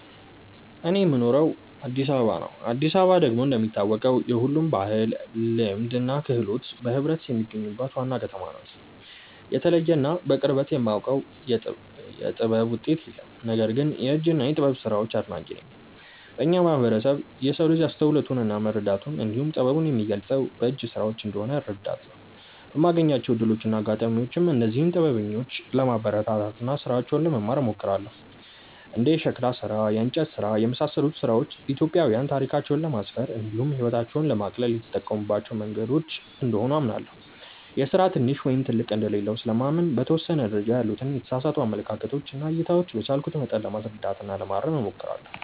እኔ የምኖረው አዲስ አበባ ነው። አዲስ አበባ ደግሞ እንደሚታወቀው የሁሉም ባህል፣ ልማድ እና ክህሎት በህብረት የሚገኙባት ዋና ከተማ ናት። የተለየ እና በቅርበት የማውቀው የጥበብ ውጤት የለም። ነገር ግን የእጅ እና የጥበብ ስራዎች አድናቂ ነኝ። በእኛ ማህበረሰብ የሰው ልጅ አስተውሎቱን እና መረዳቱን እንዲሁም ጥበቡን የሚገልፀው በእጅ ስራዎች እንደሆነ እረዳለሁ። በማገኛቸው እድሎች እና አጋጣሚዎችም እነዚህን ጥበበኞች ለማበረታታት እና ስራቸውን ለመማር እሞክራለሁ። እንደ የሸክላ ስራ፣ የእንጨት ስራ እና የመሳሰሉት ስራዎች ኢትዮጵያዊያን ታሪካቸውን ለማስፈር እንዲሁም ህይወታቸውን ለማቅለል የተጠቀሙባቸው መንገዶች እንደሆኑ አምናለሁ። የስራ ትንሽ ወይም ትልቅ እንደሌለው ስለማምን በተወሰነ ደረጃ ያሉትን የተሳሳቱ አመለካከቶች እና እይታዎች በቻልኩት መጠን ለማስረዳት እና ለማረም እሞክራለሁ።